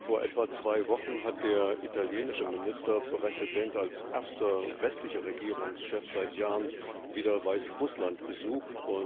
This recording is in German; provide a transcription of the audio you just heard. Vor etwa zwei Wochen hat der italienische Ministerpräsident als erster westlicher Regierungschef seit Jahren wieder Weißrussland besucht.